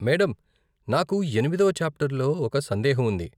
Madam, నాకు ఎనిమిదవ చాప్టర్లో ఒక సందేహం ఉంది.